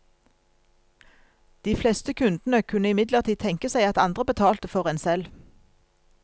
De fleste kundene kunne imidlertid tenke seg at andre betalte for en selv.